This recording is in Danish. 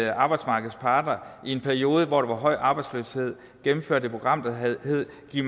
at arbejdsmarkedets parter i en periode hvor der var høj arbejdsløshed gennemførte et program der hed giv